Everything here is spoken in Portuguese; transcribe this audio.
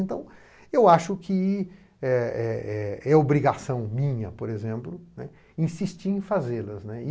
Então, eu acho que é, é, brigação minha, por exemplo, insistir em fazê-las.